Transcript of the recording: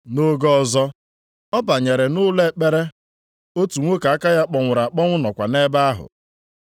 Nʼoge ọzọ, ọ banyere nʼụlọ ekpere, otu nwoke aka ya kpọnwụrụ akpọnwụ nọkwa nʼebe ahụ.